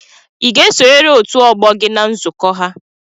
ị ga-esonyere otu ọgbọ gị na nzukọ ha?